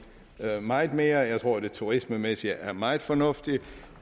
meget mere jeg tror at det turismemæssigt er meget fornuftigt